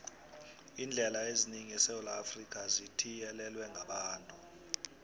iindlela eziningi esewula afrika zithiyelelwe ngabantu